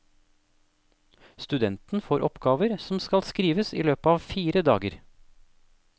Studenten får oppgaver som skal skrives i løpet av fire dager.